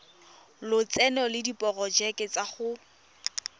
lotseno le diporojeke tsa go